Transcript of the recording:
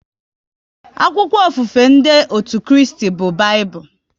Akwụkwọ ofufe ndị otú Kristi bụ Baịbụl